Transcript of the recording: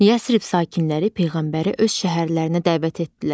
Yəsrib sakinləri peyğəmbəri öz şəhərlərinə dəvət etdilər.